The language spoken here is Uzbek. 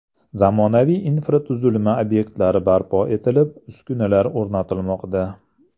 Zamonaviy infratuzilma obyektlari barpo etilib, uskunalar o‘rnatilmoqda.